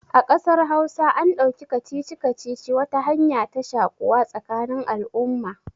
A ƙasar hausa an ɗauki kacici-kacici wata hanya ta shaƙuwa tsakanin al'umma